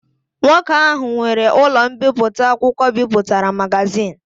Nwoke ahụ nwere ụlọ mbipụta akwụkwọ bipụtara magazin.